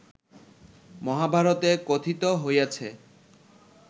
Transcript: মহাভারতে কথিত হইয়াছে